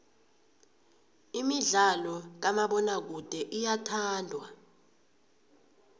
imidlalo kamabonakude iyathandwa